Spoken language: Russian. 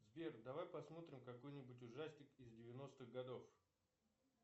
сбер давай посмотрим какой нибудь ужастик из девяностых годов